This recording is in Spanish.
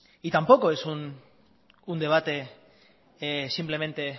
tampoco es un debate simplemente